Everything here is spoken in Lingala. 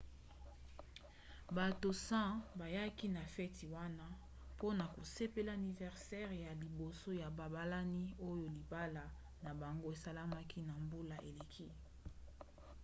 bato 100 bayaki na feti wana mpona kosepela aniversere ya liboso ya babalani oyo libala na bango esalemaki na mbula eleki